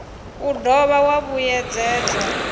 u do dovha wa vhuyedzedzwa